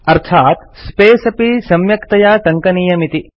अस्यार्थः space अपि सम्यक्तया टङ्कनीयमिति